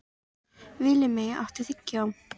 Villimey, áttu tyggjó?